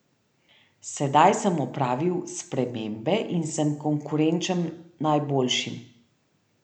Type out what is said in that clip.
Sedaj sem opravil spremembe in sem konkurenčen najboljšim.